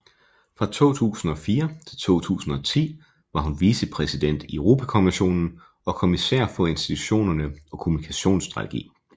Fra 2004 til 2010 var hun vicepræsident i Europakommissionen og kommissær for institutionerne og kommunikationsstrategi